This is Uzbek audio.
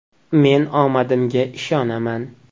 Men omadimga ishonaman!